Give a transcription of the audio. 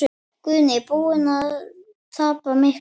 Guðný: Búinn að tapa miklu?